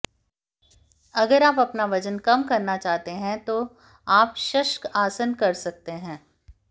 अगर आप अपना वजन कम करना चाहते है तो आप शशकासन कर सकते है